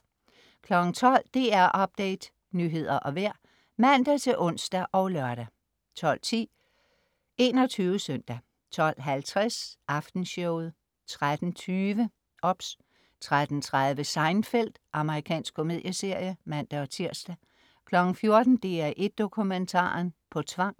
12.00 DR Update, nyheder og vejr (man-ons og lør) 12.10 21 Søndag 12.50 Aftenshowet 13.20 OBS 13.30 Seinfeld. Amerikansk komedieserie (man-tirs) 14.00 DR1 Dokumentaren. På tvang